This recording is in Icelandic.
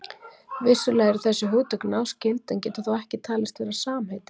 Vissulega eru þessi hugtök náskyld en geta þó ekki talist vera samheiti.